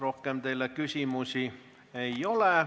Rohkem teile küsimusi ei ole.